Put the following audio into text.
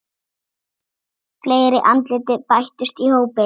Fleiri andlit bætast í hópinn.